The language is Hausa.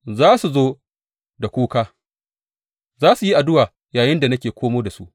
Za su zo da kuka; za su yi addu’a yayinda nake komo da su.